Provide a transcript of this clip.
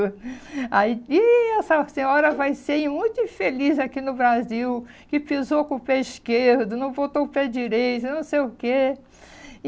Aí ih essa senhora vai ser muito infeliz aqui no Brasil, que pisou com o pé esquerdo, não botou o pé direito, não sei o quê.